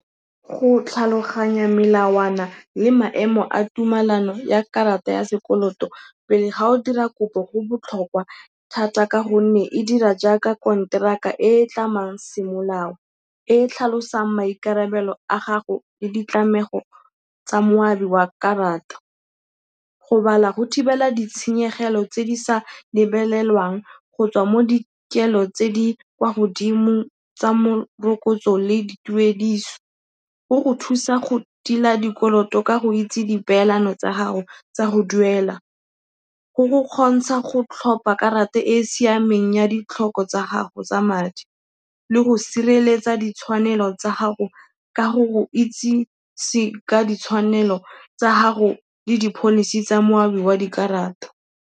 Go tlhaloganya melawana le maemo a tumalano ya karata ya sekoloto pele fa o dira kopo go botlhokwa thata ka gonne e dira jaaka konteraka e e tlamang semolao, e e tlhalosang maikarabelo a gago le ditlamego tsa moabi wa ka batho. Go bala go thibela ditshenyegelo tse di sa lebelelwang go tswa mo dikelo tse di kwa godimo tsa morokotso le dituediso, go go thusa go tila dikoloto ka go itse dipeelano tsa gago tsa go duela, go go kgontsha go tlhopha karata e e siameng ya ditlhoko tsa gago tsa madi le go sireletsa ditshwanelo tsa gago ka go go itsise ka ditshwanelo tsa gago le di-policy tsa moabi wa dikarata.